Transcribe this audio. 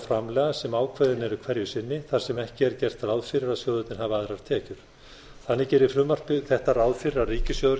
framlaga sem ákveðin eru hverju sinni þar sem ekki er gert ráð fyrir að sjóðirnir hafi aðrar tekjur þannig gerir frumvarp þetta ráð fyrir að ríkissjóður